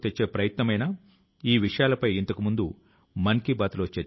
ఈ ప్రచారం లో ముప్ఫై వేల మందికి పైగా ఎన్సిసి కేడెట్ స్ పాల్గొన్నారు